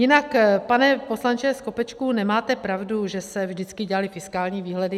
Jinak, pane poslanče Skopečku, nemáte pravdu, že se vždycky dělaly fiskální výhledy.